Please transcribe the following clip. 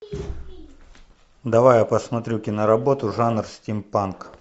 давай я посмотрю киноработу жанр стимпанк